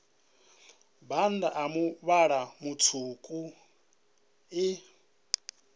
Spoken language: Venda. bannda a muvhala mutswuku i